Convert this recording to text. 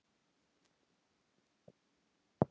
Ég sá mitt óvænna og þagði.